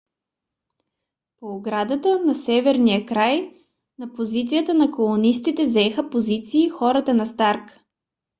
по оградата на северния край на позицията на колонистите заеха позиции хората на старк